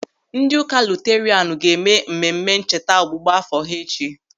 Ndị ụka Luterianu ga-eme mmemme ncheta ọgbụgba áfọ̀ ha echi.